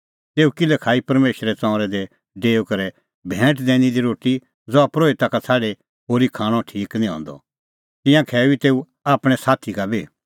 तेऊ किल्है खाई परमेशरे ताम्बू दी डेऊई करै भैंट दैनी दी रोटी ज़हा परोहिता का छ़ाडी होरी खाणअ ठीक निं हंदअ तिंयां खैऊई तेऊ आपणैं साथी का बी